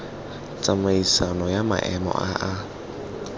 tsamaisano ya maemo a a